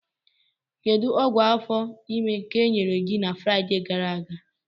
Kedu ọgwụ afọ ime ka enyere gị na Fraịde gara aga?